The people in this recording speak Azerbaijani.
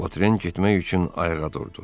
Votren getmək üçün ayağa durdu.